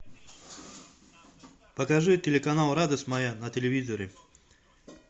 покажи телеканал радость моя на телевизоре